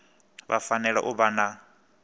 vha fanela u vha na